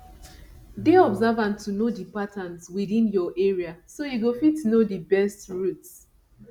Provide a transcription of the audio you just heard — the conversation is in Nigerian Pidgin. dey observant to know di patterns within your area so you go fit know di best routes